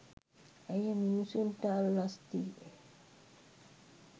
ඇය මිනිසුන්ට අල්ලස් දී